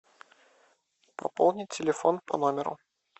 пополни телефон по номеру